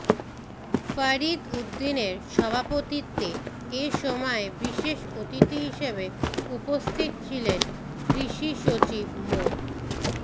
ফরিদ উদ্দিনের সভাপতিত্বে এ সময় বিশেষ অতিথি হিসেবে উপস্থিত ছিলেন কৃষি সচিব মো